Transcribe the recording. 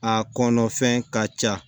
A kɔnɔfɛn ka ca